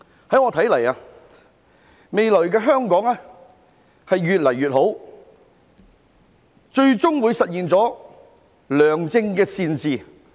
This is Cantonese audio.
依我所看，未來的香港會越來越好，最終會實現良政善治。